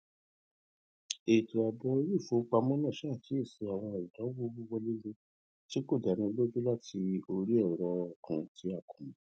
ètò ààbò iléìfowópamọ náà ṣàkíyèsí àwọn ìdánwò wíwọlélé tí kò dáni lójú láti orí ẹrọ kan tí a kò mọ